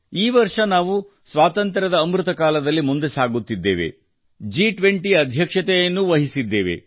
ಈ ವರ್ಷ ನಾವು ಸ್ವಾತಂತ್ರ್ಯದ ಅಮೃತ ಕಾಲದಲ್ಲಿ ಮುಂದೆ ಸಾಗುತ್ತಿದ್ದೇವೆ ಜಿ 20 ಅಧ್ಯಕ್ಷತೆಯನ್ನೂ ವಹಿಸುತ್ತಿದ್ದೇವೆ